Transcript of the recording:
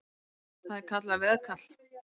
Það er kallað veðkall.